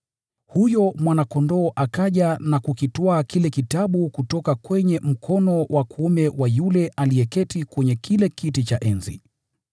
Huyo Mwana-Kondoo akaja na kukitwaa kile kitabu kutoka kwenye mkono wa kuume wa yule aliyeketi kwenye kile kiti cha enzi.